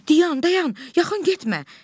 Dayan, dayan, yaxın getmə!